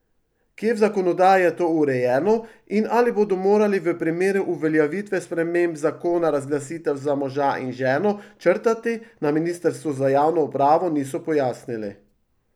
Kje v zakonodaji je to urejeno in ali bodo morali v primeru uveljavitve sprememb zakona razglasitev za moža in ženo črtati, na ministrstvu za javno upravo niso pojasnili.